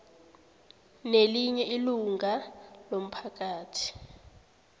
nelinye ilunga lomphakathi